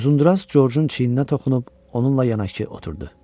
Uzundraz Georgeun çiyninə toxunub onunla yanaşı oturdu.